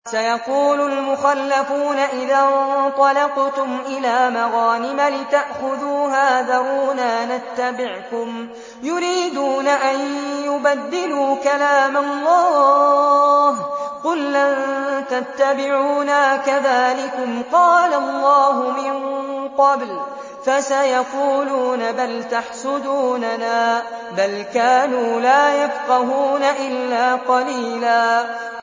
سَيَقُولُ الْمُخَلَّفُونَ إِذَا انطَلَقْتُمْ إِلَىٰ مَغَانِمَ لِتَأْخُذُوهَا ذَرُونَا نَتَّبِعْكُمْ ۖ يُرِيدُونَ أَن يُبَدِّلُوا كَلَامَ اللَّهِ ۚ قُل لَّن تَتَّبِعُونَا كَذَٰلِكُمْ قَالَ اللَّهُ مِن قَبْلُ ۖ فَسَيَقُولُونَ بَلْ تَحْسُدُونَنَا ۚ بَلْ كَانُوا لَا يَفْقَهُونَ إِلَّا قَلِيلًا